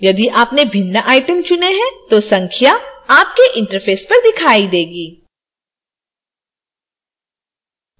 यदि आपने भिन्न items चुने हैं तो संख्या आपके interface पर दिखाई देगी